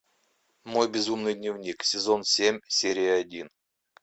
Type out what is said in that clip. мой безумный дневник сезон семь серия один